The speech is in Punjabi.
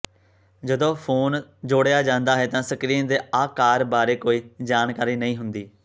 ਜਦੋਂ ਫੋਨ ਜੋੜਿਆ ਜਾਂਦਾ ਹੈ ਤਾਂ ਸਕ੍ਰੀਨ ਦੇ ਆਕਾਰ ਬਾਰੇ ਕੋਈ ਜਾਣਕਾਰੀ ਨਹੀਂ ਹੁੰਦੀ